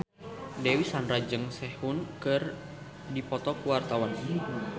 Dewi Sandra jeung Sehun keur dipoto ku wartawan